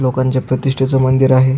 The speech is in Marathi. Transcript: लोकांच्या प्रतिष्टेच मंदिर आहे.